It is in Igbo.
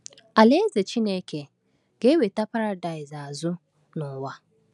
Alaeze chineke ga-eweta Paradaịs azụ n’ụwa.